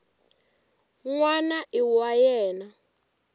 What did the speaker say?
n wana i wa yena